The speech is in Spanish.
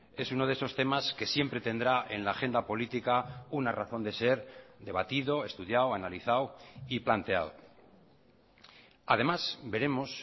es uno de esos temas que siempre tendrá en la agenda política una razón de ser debatido estudiado analizado y planteado además veremos